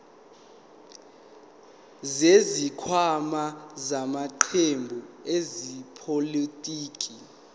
zesikhwama samaqembu ezepolitiki